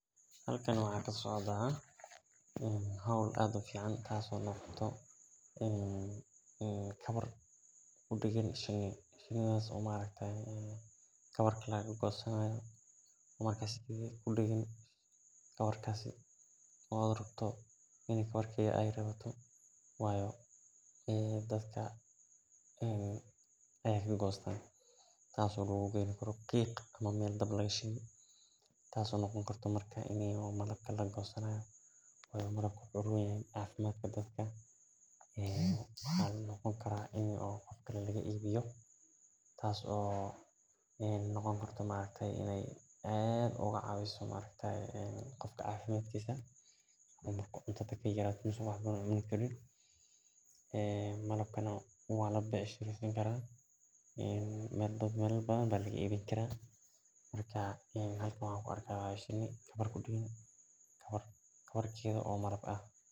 Halkani waxa kasocda hol aad u adhag tas oo ah kawar kawarkas oo shini laga gosto dadka aya ka gosta tas oo noqoni karta ini dab lagu goyo dadka aya laga ibiya cafimaadka aya ufican yahay marka dadka aya laga ibini karaa lacag aya ka heleysa halkan shini ayan kuarka kabar kudagan sas waye sitha lo yaqano sifa len ogu awurman o ee isdax galin.